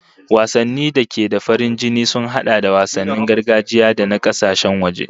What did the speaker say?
Wasanni da da ke da farin jini sun hada da wasannin gargajiya da na kasashen waje